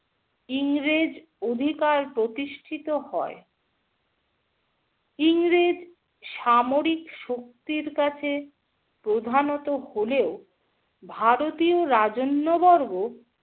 ইংরেজ অধিকার প্রতিষ্টিত হয়। ইংরেজ সামরিক শক্তির কাছে প্রধানত হলেও, ভারতীয় রাজন্যবর্গ